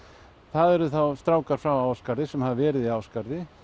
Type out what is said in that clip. það eru þá strákar frá Ásgarði sem hafa verið í Ásgarði